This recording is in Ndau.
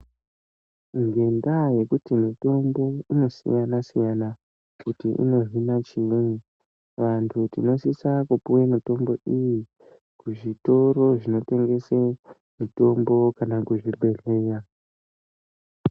Ngendaa yekuti mitombo inosiyana-siyana kuti inohina chiinyi. Vantu tinosise kupiwa mitombi iyi kuzvitoro zvinotengese mitombo kana kuzvibhedhleya.